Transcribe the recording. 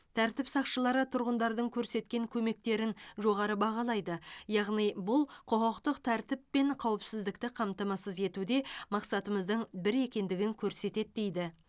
тәртіп сақшылары тұрғындардың көрсеткен көмектерін жоғары бағалайды яғни бұл құқықтық тәртіп пен қауіпсіздікті қамтамасыз етуде мақсатымыздың бір екендігін көрсетеді дейді